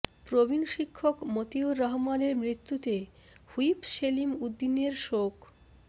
প্রবীন শিক্ষক মতিউর রহমানের মৃত্যুতে হুইপ সেলিম উদ্দিনের শোক